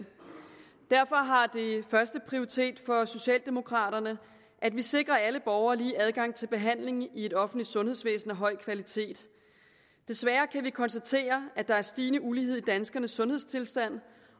derfor har det førsteprioritet for socialdemokraterne at vi sikrer alle borgere lige adgang til behandling i et offentligt sundhedsvæsen af høj kvalitet desværre kan vi konstatere at der er en stigende ulighed i danskernes sundhedstilstand